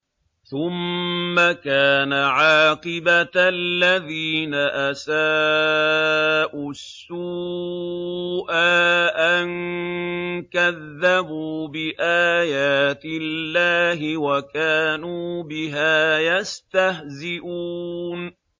ثُمَّ كَانَ عَاقِبَةَ الَّذِينَ أَسَاءُوا السُّوأَىٰ أَن كَذَّبُوا بِآيَاتِ اللَّهِ وَكَانُوا بِهَا يَسْتَهْزِئُونَ